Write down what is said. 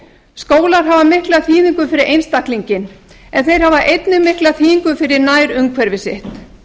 skólar hafa mikla þýðingu fyrir einstaklinginn en þeir hafa einnig mikla þýðingu fyrir nærumhverfi sitt